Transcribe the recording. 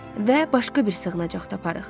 Və başqa bir sığınacaq taparıq.